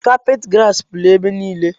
Kapet grasi pụrụ ebe niile